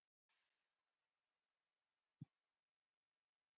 Og við erum tvö.